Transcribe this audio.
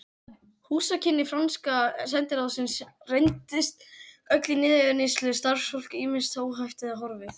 Húsakynni franska sendiráðsins reyndust öll í niðurníðslu, starfsfólk ýmist óhæft eða horfið.